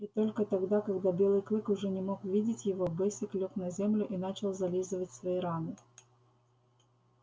и только тогда когда белый клык уже не мог видеть его бэсик лёг на землю и начал зализывать свои раны